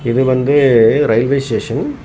இது வந்து railway station .